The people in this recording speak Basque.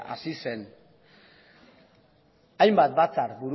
hasi zen hainbat batzar